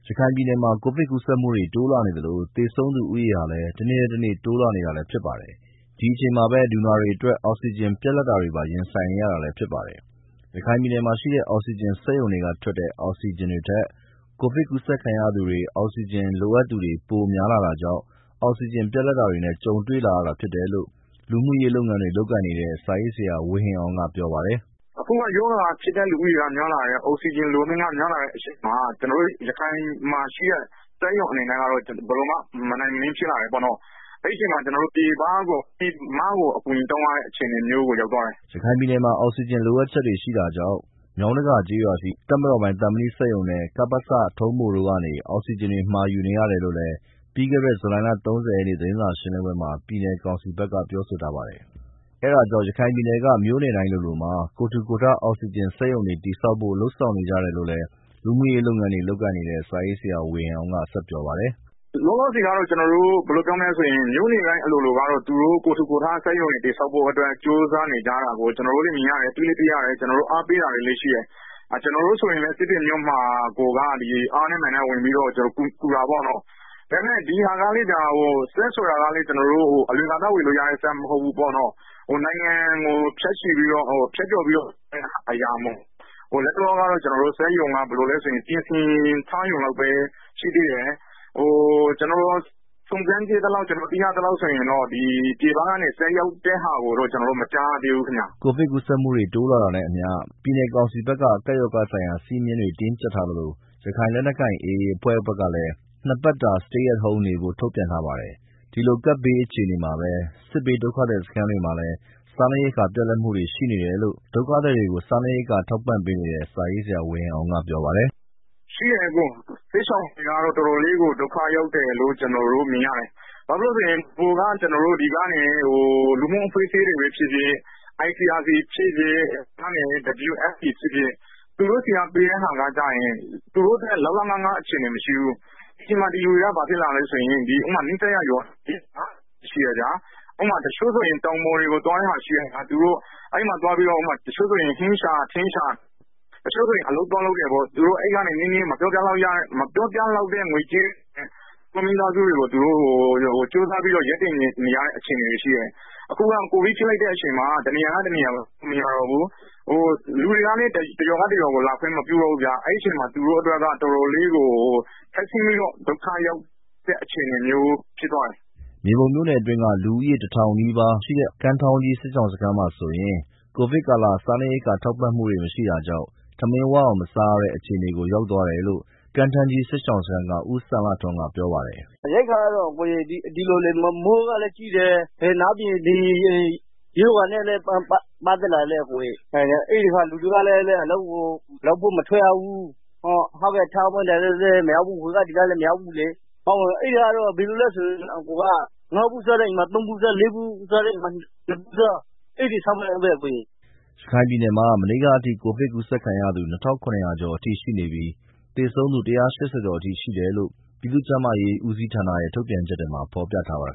ရခိုင်ပြည်နယ်မှာ ကိုဗစ်ကူးစက်မှုတွေ တိုးလာနေသလို သေဆုံးသူ ဦးရေဟာလည်း တစ်နေ့ ထက် တစ်နေ့ တိုးလာနေတာလည်းဖြစ်ပါတယ်။ ဒီအချိန်မှာပဲ လူနာတွေအတွက် အောက်ဆီဂျင်ပြတ်လပ်တာတွေပါရင်ဆိုင်နေရတာလည်း ဖြစ်ပါတယ်။ ရခိုင်ပြည်နယ်မှာ ရှိတဲ့ အောက်ဆီဂျင် စက်ရုံတွေက ထွက်တဲ့ အောက်ဆီဂျင်တွေထက်၊ ကိုဗစ်ကူးစက်ခံရသူတွေ အောက်ဆီဂျင်လိုအပ်သူတွေ ပိုများလာတာကြောင့် အောက်ဆီဂျင်ပြတ်လတ်တာတွေနဲ့ ကြုံတွေ့လာရတာဖြစ်တယ်လို့ လူမှူရေးလုပ်ငန်းတွေ လုပ်ကိုင်နေတဲ့ စာရေးဆရာဝေဟင်အောင်က ပြောပါတယ်။ “ အခုက ရောဂါဖြစ်တဲ့ လူဦးရေက များလာတယ်။ အောက်ဆီဂျင်လိုတာတွေက များလာတဲ့ အချိန်မှာ ကျနော်တို့ ရခိုင်ပြည်နယ်မှာ ရှိတဲ့ အောက်ဆီဂျင်စက်ရုံတွေက မနိုင်မနှင်း ဖြစ်လာ တယ်ပေါ့။ အချိန်မှာ ကျနော်တို့ ပြည်မကို အကူအညီတောင်းရတဲ့ အနေအထားမျိုးကို ရောက် သွားတယ်။” ရခိုင်ပြည်နယ်မှာ အောက်ဆီဂျင်လိုအပ်ချက်တွေ ရှိလာတာကြောင့် မြောင်းတကာကျေးရွာရှိ တပ်မတော်ပိုင် သံမဏိစက်ရုံနဲ့ ကပစ တို့ကနေ အောက်ဆီဂျင်တွေ မှာယူနေ ရတယ် လို့လည်း ပြီးခဲ့တဲ့ ဇူလိုင်လ ၃၀ရက်နေ့ သတင်းစာရှင်းလင်းပွဲမှာ ပြည်နယ် ကောင်စီဖက်က ပြောဆိုထားပါတယ်။ အဲတာကြောင့် ရခိုင်ပြည်နယ်က မြို့နယ်တိုင်းလိုလိုမှာ ကိုယ်ထူကိုယ်ထ အောက်ဆီဂျင် စက်ရုံတွေ တည်ဆောက်ဖို့ လုပ်ဆောင်နေကြတယ်လို့လည်း လူမှူရေးလုပ်ငန်းတွေ လုပ်ကိုင်နေတဲ့ စာရေးဆရာ ဝေဟင်အောင်က ပြောပါတယ်။ “ မြို့နယ်တိုင်းလိုလိုက ကိုယ်ထူကိုယ်ထ အောက်ဆီဂျင် စက်ရုံတွေ တည်ဆောင်ဖို့ ကြိုးစား နေကြတာကိုတွေ့ရတယ်။ ကျနော်တို့ကိုယ်တိုင်လည်း အားပေးတာတွေလည်း ရှိတယ်။ ကျနော်တို့ကိုယ်တိုင်လည်း ဒီစစ်တွေမြို့မှာ ဆိုရင် အားနဲ့ မာန်နဲ့ ဝင်ပြီးတော့ ကူတာ ပေါ့နော်။ ပြီးတော့ ဒီစက်တွေကလည်း အလွယ်တကူ ဝယ်လို့ရတဲ့ စက်မဟုတ် ဘူးပေါ့နော်။ နိုင်ငံကို ဖြတ်ကျော်ပြီးတော့ ဝယ်ရတဲ့ အရာဆိုတော့ လတ်တလောကတော့ စက်ရုံကတော့ ပြင်ဆင် ထားရုံလောက်ပဲ ရှိသေးတယ်။ စုံစမ်းကြည့်သလောက် ဆိုရင်တော့ ပြည်ပကနေ စက် ရောက်တဲ့ ဟာကိုတော့ မကြားရသေးဘူးခင်မျာ။” ကိုဗစ်ကူးစက်မှုတွေ တိုးလာတာနဲ့ အမျှ ပြည်နယ်ကောင်စီဖက်က ကပ်ရောဂါဆိုင်ရာစည်းမျည်းတွေ တင်းကြပ်ထားသလို ရခိုင်လက်နက်ကိုင် AA အဖွဲ့ဖက်ကလည်း နှစ်ပတ်တာ Stay at home နေဖို့ ထုတ်ပြန်ထားပါတယ်။ ဒီလိုကပ်ဘေးကာလအခြေအနေမှာပဲ စစ်ဘေးဒုက္ခသည်စခန်းတွေမှာလည်း စားနပ်ရိက္ခာတွေ ပြတ်လပ်မှုတွေ ရှိနေတယ်လို့လည်း ဒုက္ခသည် တွေကို စားန့်ရိက္ခာ ထောက်ပံ့နေတဲ့ စာရေးဆရာ ဝေဟင်အောင် ကပြောပါတယ် “ စစ်ရှောင်တွေကတော့ ပိုပြီးတော့ ဒုက္ခရောက်တယ်လို့ ကျနော်တို့မြင်ရတယ်။ အရင်က တော့ ကျနော်တို့ လူမှူအဖွဲ့အစည်းတွေပဲ ဖြစ်ဖြစ် ICRC ဖြစ်ဖြစ် WFPဖြစ်ဖြစ် သူတို့တွေက ပေးတဲ့ဟာတွေက သူတို့အတွက် လောက်လောက်ငှငှအခြေအနေမရှိဘူး။ ဒီအချိန်မှာ ဒီလူတွေက ဘာဖြစ်လာလဲဆိုတော့ နီးစပ်ရာရွာတွေ ရှိတယ်ဗျာ။ တစ်ချို့ဆိုရင် တောင်ပေါ် တွေကို သွားရတာရှိတယ်။ ဟင်းရှာ ထင်းရှာ တစ်ချို့ ဆိုရင် အလုပ်သွားလုပ်တာ ရှိတယ်။ အဲဒီကနေ ရတဲ့ မပြောပါးလောက်တဲ့ ငွေကြေးတွေနဲ့ မိသားစု စားဝတ်နေရေး ရပ်တည်နေရတဲ့ အခြေအနေရှိတယ်။ အခုက ကိုဗစ် ဖြစ်နေတော့ တစ်နေရာကနေ တစ်နေရာကို သွားလို့မရ တော့ဘူး။ လူတွေကလည်း တစ်ရွာနဲ့ တစ်ရွာကို လာခွင့်မပြုတော့ဘူး။ အဲဒီအချိန်မှာ သူတို့ အတွက် အတော်ဆင်းရဲ ဒုက္ခရောက်တဲ့ အနေအထားကို ရောက်သွားတယ်။” မြေပုံမြို့နယ်အတွင်းက လူဦးရေ ၁၀၀၀နီးပါးရှိတဲ့ ကမ်းထောင်းကြီးစစ်ရှောင်စခန်းမှာဆိုရင် ကိုဗစ်ကာလာ စားနပ်ရိက္ခာထောက်ပံ့မှုတွေ မရှိတာကြောင့် ထမင်းဝအောင်မစားရတဲ့ အခြေအနေ ရောက်သွားတယ်လို့ ကမ်းထမ်းကြီးစစ်ရှောင်စခန်းက ဦးစံလှထွန်းကပြောပါ တယ်။ “ ရိက္ခာက မိုးကလည်း ကြီးတယ်။ နောက်ပြီးတော့ ကိုဗစ်လည်း ဖြစ်နေတော့ လူတွေ က လည်း အလုပ်လုပ်ဖို့ မထွက်ရဘူး။ ထောက်ပံ့သူတွေကလည်း မရောက်ဘူး ဟိုကဒီ ကလည်း မရောက်ဘူး။ အဲဒီတော့ တစ်အိမ်မှာ ဆန်နို့ဆီဘူး ငါးဗူး စားရတဲ့ အိမ်ဆိုရင် သုံး ဗူးပဲစားရ တယ်။ သုံးဗူးစားတဲ့ အိမ်တွေဆိုရင် နှစ်ဗူးပဲစားရတယ်။ အဲဒီအဆင့် ရောက် သွားတယ်။” ရခိုင်ပြည်နယ်မှာ မနေ့က အထိ ကိုဗစ်ကူးစက်ခံရသူ ၂၇၀၀ကျော်အထိရှိနေပြီး သေဆုံးသူ ၁၈၀ကျော်အထိရှိနေတယ်လို့ ပြည်သူ့ကျန်းမာရေးဦးစီးဌာနရဲ့ ထုတ်ပြန်ချက်မှာ ဖော်ပြထား ပါတယ်